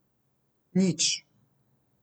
Nič.